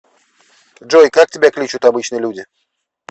джой как тебя кличут обычно люди